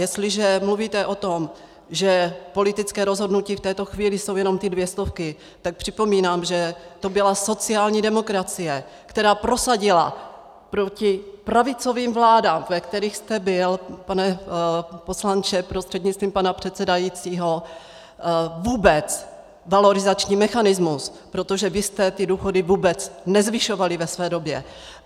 Jestliže mluvíte o tom, že politické rozhodnutí v této chvíli jsou jenom ty dvě stovky, tak připomínám, že to byla sociální demokracie, která prosadila proti pravicovým vládám, ve kterých jste byl, pane poslanče prostřednictvím pana předsedajícího, vůbec valorizační mechanismus, protože vy jste ty důchody vůbec nezvyšovali ve své době.